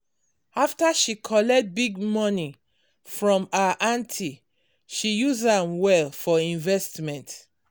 after she collect big money from her aunty she use am well for investment